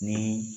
Ni